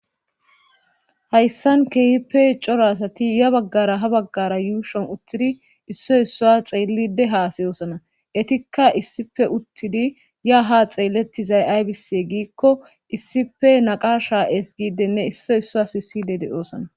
Hayssan keehippe cora asati ya baggara yuushuwan uttidi issot issuwa xeellidde haasayoosona eetikka issippe uttidi yaa ha xeelettizay aybisse giikko issippe naqaasha ezggiidenne issoy issuwas sissidde de7oosona.